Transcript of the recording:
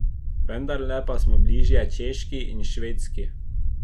Vendarle pa smo bližje Češki in Švedski.